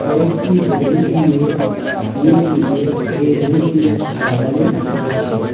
কয়েকটি বেলুন দিয়ে ফুল দিয়ে এই রুমটি সাজানো রয়েছে।